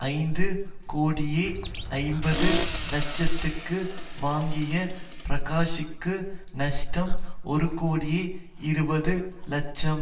ஐந்து கோடியே ஐம்பது லட்சத்துக்கு வாங்கிய பிரகாஷூக்கு நஷ்டம் ஒருகோடியே இருபது லட்சமாம்